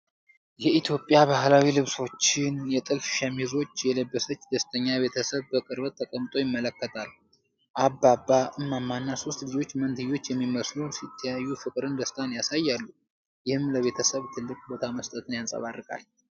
የኢትዮጵያ ባህላዊ ልብሶችን (የጥልፍ ሸሚዞች) የለበሰች ደስተኛ ቤተሰብ በቅርበት ተቀምጦ ይመለከታል። አባባ ፣ እማማ እና ሦስት ልጆች (መንትዮች የሚመስሉ) ሲተያዩ ፍቅርንና ደስታን ያሳያሉ፤ ይህም ለቤተሰብ ትልቅ ቦታ መስጠትን ያንፀባርቃል።